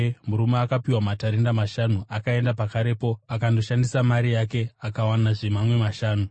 Murume akapiwa matarenda mashanu akaenda pakarepo akandoshandisa mari yake akawanazve mamwe mashanu.